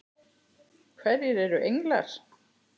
Hverjir eru englar?